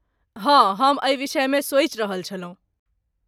हँ, हम एहि विषयमे सोचि रहल छलहुँ।